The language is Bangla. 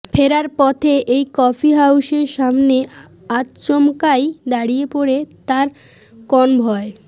ফেরার পথে এই কফি হাউসের সামনে আচমকাই দাঁড়িয়ে পড়ে তাঁর কনভয়